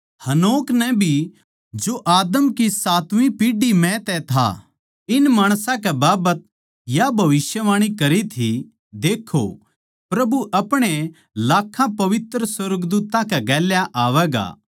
हनोक नै भी जो आदम की सातवीं पीढ़ी म्ह तै था इन माणसां कै बाबत या भविष्यवाणी करी थी देक्खों प्रभु अपणे लाखां पवित्र सुर्गदूत्तां कै गेल्या आवैगा